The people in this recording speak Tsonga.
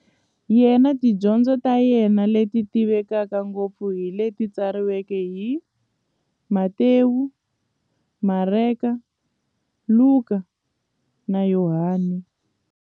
Yena na tidyondzo ta yena, leti tivekaka ngopfu hi leti tsariweke hi-Matewu, Mareka, Luka, na Yohani.